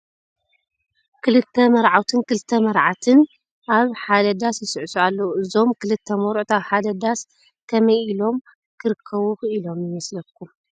ክልተ መርዓውትን ክልተ መራዕትን ኣብ ሓደ ዳስ ይስዕስዑ ኣለዉ፡፡ እዞም ክልተ መርዑት ኣብ ሓደ ዳስ ከመይ ኢሎም ክርከቡ ኽኢሎም ይመስለኩም?